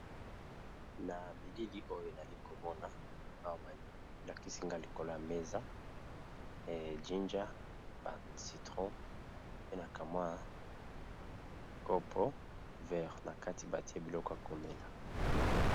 Na bilili oyo nazali komona liboso awa likolo ya meza jinja ba citron na verre batye nakati biloko ya komela.